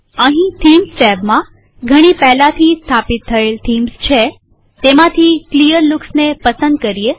અહીં થીમ્સ ટેબમાંઘણી પહેલાથી સ્થાપિત થયેલ થીમ્સ છેતેમાંથી ક્લીયરલૂકસને પસંદ કરીએ